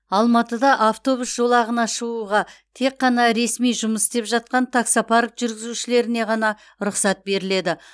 алматыда автобус жолағына шығуға тек қана ресми жұмыс істеп жатқан таксопарк жүргізушілеріне ғана рұқсат беріледі